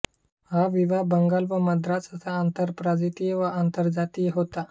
हा विवाह बंगाल व मद्रास असा आंतरप्रांतीय व आंतरजातीय होता